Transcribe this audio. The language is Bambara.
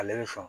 Ale bɛ sɔn